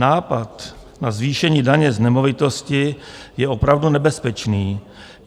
Nápad na zvýšení daně z nemovitosti je opravdu nebezpečný.